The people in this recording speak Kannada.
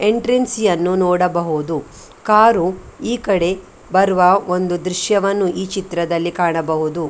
ಎಂಟ್ರಂನ್ಸಿಯನ್ನು ನೋಡಬಹುದು ಕಾರು ಈ ಕಡೆ ಬರುವ ಒಂದು ದೃಶ್ಯವನ್ನು ಕಾಣಬಹುದು.